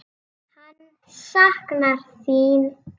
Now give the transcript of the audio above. Hann saknar þín.